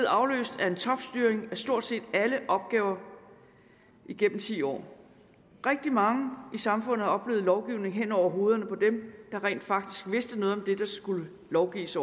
afløst af en topstyring af stort set alle opgaver igennem ti år rigtig mange i samfundet har oplevet lovgivning hen over hovederne på dem der rent faktisk vidste noget om det der skulle lovgives